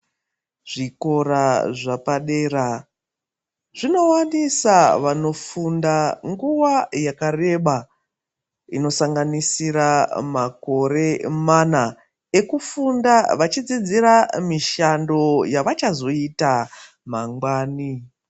Zvikora zvapadera zvinowanisa vanofunda nguwa yakareba inosanganisira makore mana ekufunda vachidzidzira mishando yavachazoita mangwani